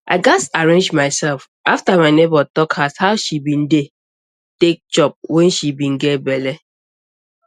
i gats arrange myself after my neighbor talk as how she be dey take chop wen she be get belle